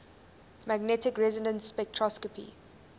magnetic resonance spectroscopy